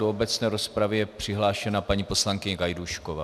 Do obecné rozpravy je přihlášena paní poslankyně Gajdůšková.